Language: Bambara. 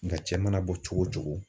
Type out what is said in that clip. Nka cɛ mana bɔ cogo cogo